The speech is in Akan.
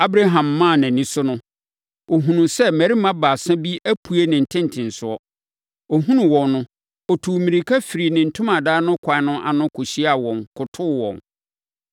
Abraham maa nʼani so no, ɔhunuu sɛ mmarima baasa bi apue ne ntentenesoɔ. Ɔhunuu wɔn no, ɔtuu mmirika firii ne ntomadan no kwan ano kɔhyiaa wɔn, kotoo wɔn.